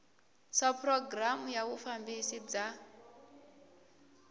swa programu ya vufambisi bya